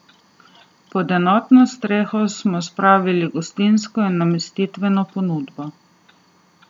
Pod enotno streho smo spravili gostinsko in namestitveno ponudbo.